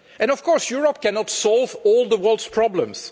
Of course Europe cannot solve all the world's problems.